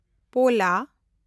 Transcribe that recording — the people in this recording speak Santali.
ᱯᱳᱞᱟ